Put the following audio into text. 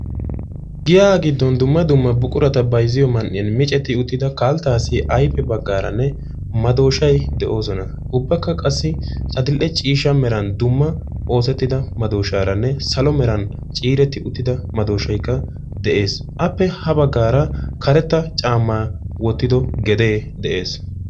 Giya giddon dumma dumma buqurata bayzziyo man"iyaan micceeti uttida kalttaasi ayfe baggaranne maddoshay de'ees; ubbakka qassi adl"e ciishshaa meraan dumma oosetidda maddoshranne salo meran ciireti uttida maddoshaykka de'ees; appe ha baggara karetta caammaa wottido gede de'ees.